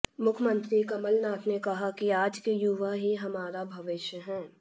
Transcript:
मुख्यमंत्री कमलनाथ ने कहा कि आज के युवा ही हमारा भविष्य हैं